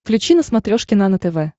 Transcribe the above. включи на смотрешке нано тв